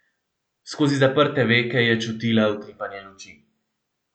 Skozi zaprte veke je čutila utripanje luči.